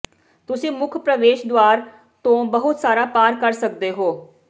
ਤੁਸੀਂ ਮੁੱਖ ਪ੍ਰਵੇਸ਼ ਦੁਆਰ ਤੋਂ ਬਹੁਤ ਸਾਰਾ ਪਾਰ ਕਰ ਸਕਦੇ ਹੋ